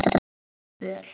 Og hún er föl.